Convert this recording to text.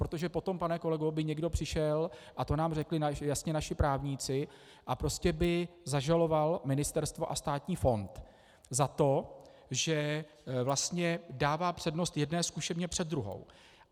Protože potom, pane kolego, by někdo přišel - a to nám řekli jasně naši právníci - a prostě by zažaloval ministerstvo a státní fond za to, že vlastně dává přednost jedné zkušebně před druhou.